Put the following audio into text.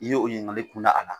I ye o ɲiningali kun da a la.